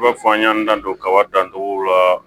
I b'a fɔ an y'an dan don kaba dancogo la